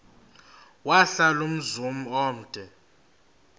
wahlala umzum omde